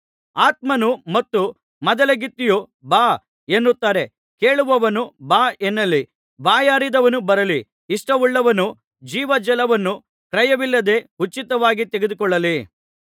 ಆತ್ಮನು ಮತ್ತು ಮದಲಗಿತ್ತಿಯು ಬಾ ಎನ್ನುತ್ತಾರೆ ಕೇಳುವವನು ಬಾ ಎನ್ನಲಿ ಬಾಯಾರಿದವನು ಬರಲಿ ಇಷ್ಟವುಳ್ಳವನು ಜೀವಜಲವನ್ನು ಕ್ರಯವಿಲ್ಲದೆ ಉಚಿತವಾಗಿ ತೆಗೆದುಕೊಳ್ಳಲಿ